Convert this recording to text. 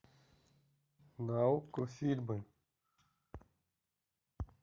на окко фильмы